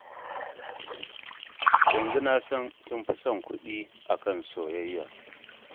Yanzu na san kin fi son kuɗi a kan soyayya.